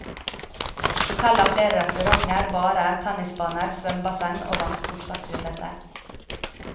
Hotellet har flere restauranter, barer, tennisbaner, svømmebasseng og vannsportsaktiviteter.